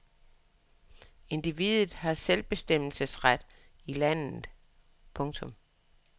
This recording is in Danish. Individet har selvbestemmelsesret i landet. punktum